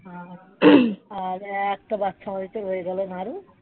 আর আর একটা বাচ্চা হয়তো হয়ে গেল নারু